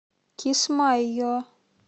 кисмайо